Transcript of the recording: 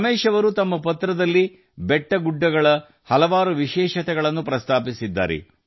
ರಮೇಶ್ ಜೀ ಅವರು ತಮ್ಮ ಪತ್ರದಲ್ಲಿ ಗುಡ್ಡಬೆಟ್ಟಗಳ ಹಲವು ವಿಶೇಷತೆಗಳನ್ನು ವಿವರಿಸಿದ್ದಾರೆ